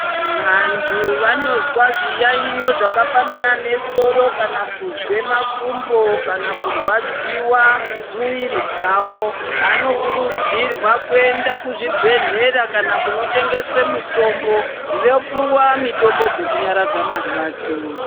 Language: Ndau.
Vantu vanozwa zviyaiyo zvakafanana nesoro kana kuzwe makumbo kana kurwadziwa muviri dzavo vanokurudzirwa kuenda kuzvibhedhlera kana kunotengeswe mitombo, vopiwa mitombo dzekunyaradza marwadzo.